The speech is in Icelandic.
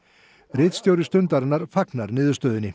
ritstjóri Stundarinnar fagnar niðurstöðunni